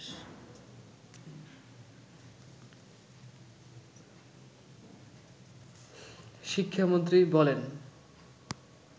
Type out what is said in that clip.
শিক্ষামন্ত্রী বলেন